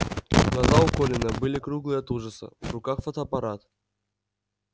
глаза у колина были круглые от ужаса в руках фотоаппарат